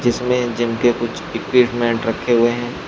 इसमें जिम के कुछ इक्विपमेंट रखे हुए हैं।